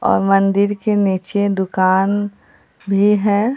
और मंदिर के नीचे दुकान भी है।